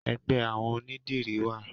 Ẹgbẹ́ àwọn onidiri wa